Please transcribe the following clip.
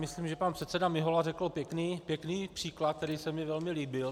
Myslím, že pan předseda Mihola řekl pěkný příklad, který se mi velmi líbil.